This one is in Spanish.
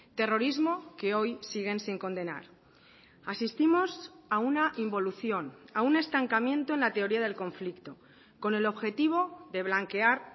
terrorismo que hoy siguen sin condenar asistimos a una involución a un estancamiento en la teoría del conflicto con el objetivo de blanquear